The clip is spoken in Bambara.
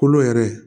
Kolo yɛrɛ